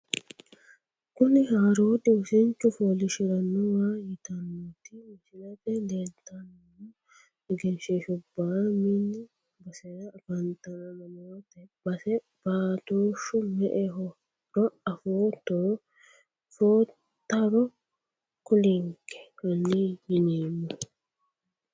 Kuni haroodi wosinchu foolishshiranowa yitanoti misilete leeltano egenshiishubba mmi basera afantano mamati base baatoshu me`ehoro afootoro footaro kulinke hani yineemo.